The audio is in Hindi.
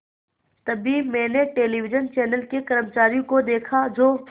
तभी मैंने टेलिविज़न चैनल के कर्मचारियों को देखा जो